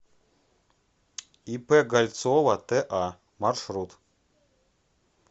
ип гальцова та маршрут